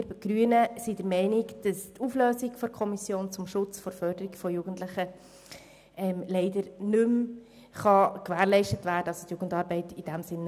Wir Grünen sind der Meinung, dass mit der Auflösung der Kommission zum Schutz und zur Förderung der Jugendlichen die Jugendarbeit nicht mehr gewährleistet werden kann.